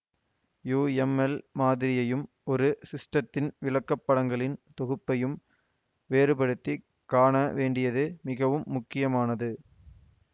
UML மாதிரியையும் ஒரு சிஸ்டத்தின் விளக்கப்படங்களின் தொகுப்பையும் வேறுபடுத்தி காணவேண்டியது மிகவும் முக்கியமானது